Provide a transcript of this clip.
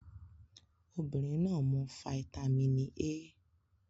Obinrin naa mu fáítámínì A